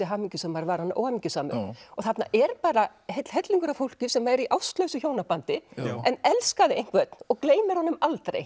hamingjusamur var hann óhamingjusamur og þarna er bara heill hellingur af fólki sem er í ástlausu hjónabandi en elskaði einhvern og gleymir honum aldrei